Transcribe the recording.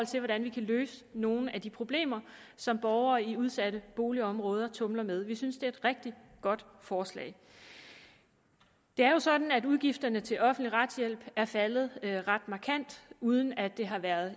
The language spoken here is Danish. til hvordan vi kan løse nogle af de problemer som borgere i udsatte boligområder tumler med vi synes det er et rigtig godt forslag det er jo sådan at udgifterne til offentlig retshjælp er faldet ret markant uden at det har været